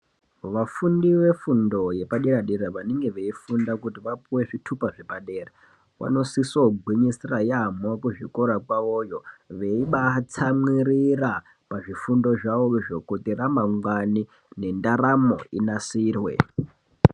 Vafundi vefundo yepadera-dera vanenge veifunda kuti vapuwe zvitupa zvepadera vanosiso kugwinyisira yaamho kuzvikora kwavoyo. Veibaatsamwirira pazvifundo zvavozvo kuti ramangwani nendaramo inasirwe.